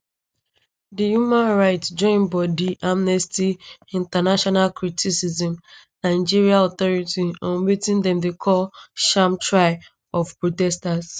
di human rights join bodi amnesty international criticize nigerian authorities on wetin dem dey call sham trial of protesters